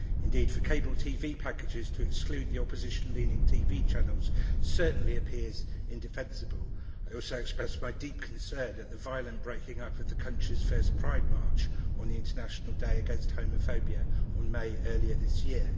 Indeed for cable TV packages to exclude the opposition leaning TV channels certainly appears indefensible. I also express my deep concern at the violent breaking up of the country's first Pride March on the International Day against Homophobia in May earlier this year.